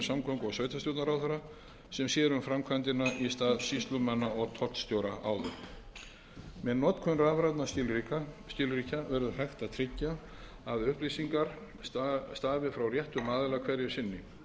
og sveitarstjórnarráðherra sem sér um framkvæmdina í stað sýslumanna og tollstjóra áður með notkun rafrænna skilríkja verður hægt að tryggja að upplýsingar stafi frá réttum aðila hverju